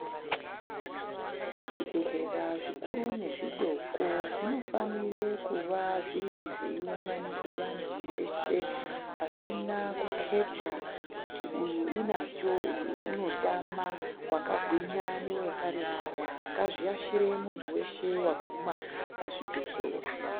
Zvibhehlera zvikuru nezvidoko zvinofanire kuvazviri zveiunganidze vantu veshe pasina kuketa kuti uyu unacho uyu unotama wakagwinya newakaremara ngazviashire muntu weshe waguma pazvibhehlera.